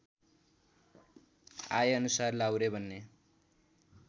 आएअनुसार लाहुरे बन्ने